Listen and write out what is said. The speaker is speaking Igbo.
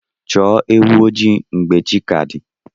Chọọ ewu ojii mgbe chi ka di.